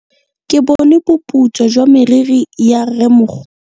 Ke bone boputswa jwa meriri ya rrêmogolo.